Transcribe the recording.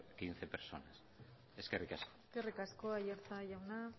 quince personas eskerrik asko eskerrik asko aiartza jauna